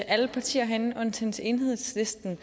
alle partier herinde undtagen enhedslisten